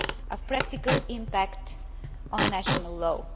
of the practical impact on national law.